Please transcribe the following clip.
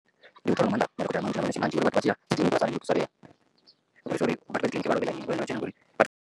Ndi u ita nga maanḓa madokotela manzhi na manese manzhi uri vhathu vha tshiya dzi kiḽiniki vha songo thusalea ngori.